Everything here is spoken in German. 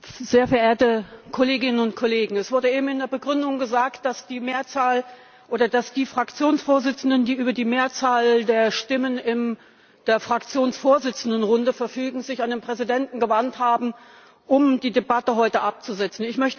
Herr Präsident, sehr verehrte Kolleginnen und Kollegen! Es wurde eben in der Begründung gesagt, dass sich die Fraktionsvorsitzenden, die über die Mehrzahl der Stimmen in der Fraktionsvorsitzendenrunde verfügen, an den Präsidenten gewandt haben, um die Debatte heute abzusetzen.